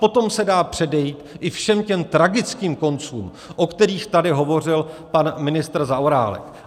Potom se dá předejít i všem těm tragickým koncům, o kterých tady hovořil pan ministr Zaorálek.